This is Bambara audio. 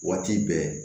Waati bɛɛ